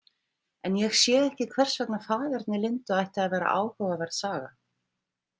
En ég sé ekki hvers vegna faðerni Lindu ætti að vera áhugaverð saga.